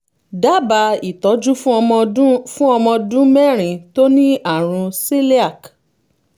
dábàá ìtọ́jú fún ọmọ ọdún fún ọmọ ọdún mẹ́rin tó ní àrùn celiac